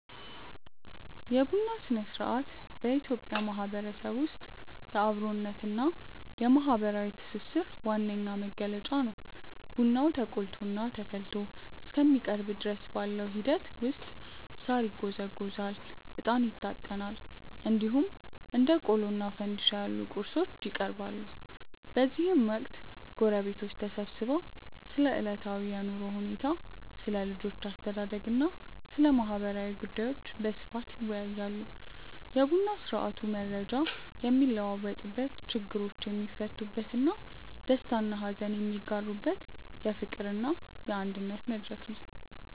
የቡና ሥነ-ሥርዓት በኢትዮጵያ ማህበረሰብ ውስጥ የአብሮነትና የማህበራዊ ትስስር ዋነኛ መገለጫ ነው። ቡናው ተቆልቶና ተፈልቶ እስከሚቀርብ ድረስ ባለው ሂደት ውስጥ ሳር ይጎዘጎዛል፣ እጣን ይታጠናል፣ እንዲሁም እንደ ቆሎና ፋንድሻ ያሉ ቁርሶች ይቀርባሉ። በዚህ ወቅት ጎረቤቶች ተሰብስበው ስለ ዕለታዊ የኑሮ ሁኔታ፣ ስለ ልጆች አስተዳደግና ስለ ማህበራዊ ጉዳዮች በስፋት ይወያያሉ። የቡና ስርአቱ መረጃ የሚለዋወጥበት፣ ችግሮች የሚፈቱበትና ደስታና ሀዘን የሚጋሩበት የፍቅርና የአንድነት መድረክ ነው።